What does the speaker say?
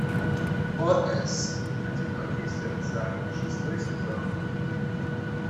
ос одинокие сердца шестой сезон